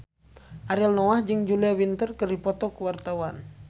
Ariel Noah jeung Julia Winter keur dipoto ku wartawan